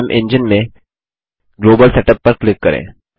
imagine में global setup पर click करें